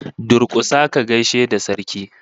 Durkusa ka gaishe da Sarki!